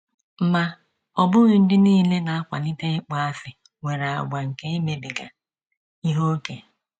Ma, ọ bụghị ndị nile na - akwalite ịkpọasị nwere àgwà nke imebiga ihe ókè.